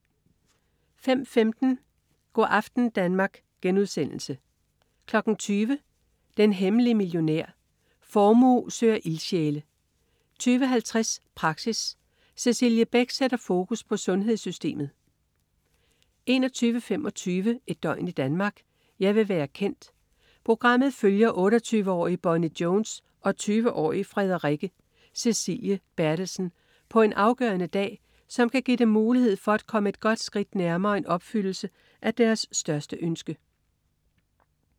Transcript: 05.15 Go' aften Danmark* 20.00 Den hemmelige millionær. Formue søger ildsjæle 20.50 Praxis. Cecilie Beck sætter fokus på sundhedssystemet 21.25 Et døgn i Danmark: Jeg vil være kendt. Programmet følger 28-årige Bonnie Jones og 20-årige Frederikke Cecilie Berthelsen på en afgørende dag, der kan give dem mulighed for at komme et godt skridt nærmere en opfyldelse af deres største ønske